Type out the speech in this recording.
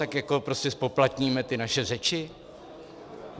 Tak jako prostě zpoplatníme ty naše řeči?